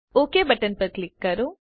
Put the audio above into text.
okay button પર click કરો